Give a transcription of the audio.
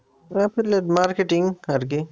Affiliate marketing আরকি